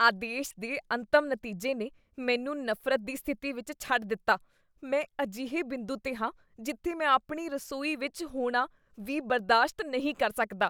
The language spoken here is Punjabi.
ਆਦੇਸ਼ ਦੇ ਅੰਤਮ ਨਤੀਜੇ ਨੇ ਮੈਨੂੰ ਨਫ਼ਰਤ ਦੀ ਸਥਿਤੀ ਵਿੱਚ ਛੱਡ ਦਿੱਤਾ। ਮੈਂ ਅਜਿਹੇ ਬਿੰਦੂ 'ਤੇ ਹਾਂ ਜਿੱਥੇ ਮੈਂ ਆਪਣੀ ਰਸੋਈ ਵਿੱਚ ਹੋਣਾ ਵੀ ਬਰਦਾਸ਼ਤ ਨਹੀਂ ਕਰ ਸਕਦਾ।